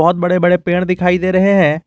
बहुत बड़े बड़े पेड़ दिखाई दे रहे हैं।